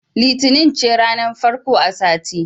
Litinin ce ranar farko a sati.